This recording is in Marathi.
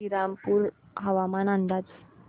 श्रीरामपूर हवामान अंदाज